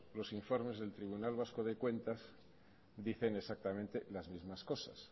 los informes del tribunal vasco de cuentas dicen exactamente las mismas cosas